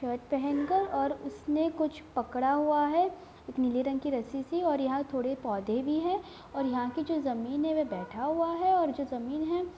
shirt पहन कर और उसने कुछ पकड़ा हुआ है एक नीले रंग की रस्सी-सी और यहाँ थोड़े पौधे भी हैं और यहाँ की जो जमीन है वो बैठा हुआ है और जो जमीन है--